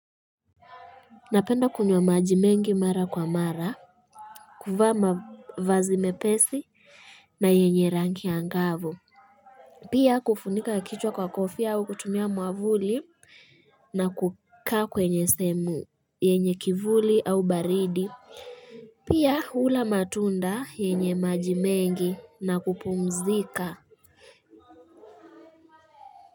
Napenda kunywa maji mengi mara kwa mara kuvaa mavazi mepesi na yenye rangi angavu. Pia kufunika kichwa kwa kofai au kutumia mwavuli na kukaa kwenye sehemu yenye kivuli au baridi. Pia hula matunda yenye majimengi na kupumzika.